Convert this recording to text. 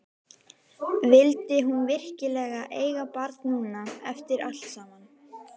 Vildi hún virkilega eiga barn núna, eftir allt saman?